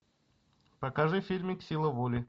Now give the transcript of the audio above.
покажи фильмик сила воли